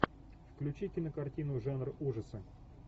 включи кинокартину жанр ужасы